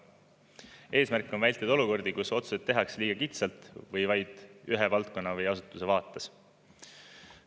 Eesmärk on vältida olukordi, kus otsuseid tehakse liiga kitsalt või vaid ühe valdkonna või asutuse vaates.